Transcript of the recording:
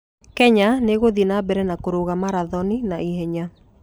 Kenya nĩ ĩgũthiĩ na mbere na kũrũga marathoni na ihenya.